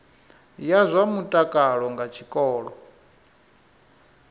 ya zwa mutakalo nga tshikolo